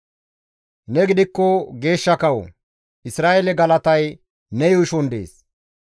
Ne gidikko geeshsha kawo; Isra7eele galatay ne yuushon dees.